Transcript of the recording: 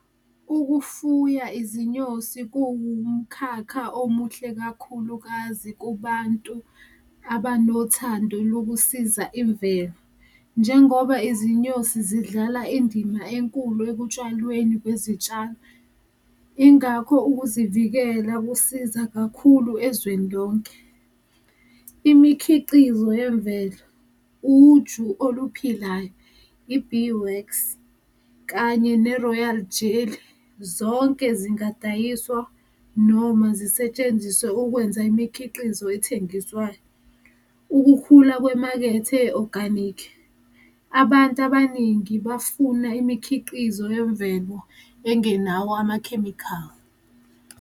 Ukufuya izinyosi kuwumkhakha omuhle kakhulukazi kubantu abanothando lokusiza imvelo, njengoba izinyosi zidlala indima enkulu ekutshwalweni kwezitshalo, ingakho ukuzivikela kusiza kakhulu ezweni lonke. Imikhiqizo yemvelo, uju oluphilayo, i-beewax kanye ne-royal jelly, zonke zingadayiswa noma zisetshenziswe ukwenza imikhiqizo athengiswayo, ukukhula kwemakethe e-organic, abantu abaningi bafuna imikhiqizo yemvelo engenawo amakhemikhali.